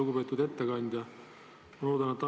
Lugupeetud ettekandja!